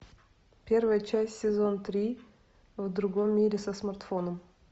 первая часть сезон три в другом мире со смартфоном